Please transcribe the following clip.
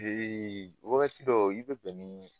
Ee wagati dɔw i be bɛn ni